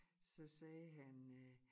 Så sagde han øh